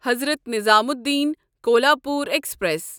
Hazrat Nizamuddin Kolhapur express